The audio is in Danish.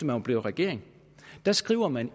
var blevet regering der skriver man